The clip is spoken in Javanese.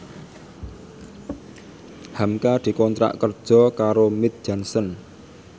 hamka dikontrak kerja karo Mead Johnson